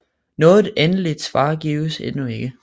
Noget endeligt svar gives endnu ikke